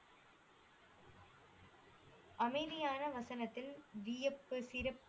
அமைதியான வசனத்தில் வியப்பு சிரிப்பு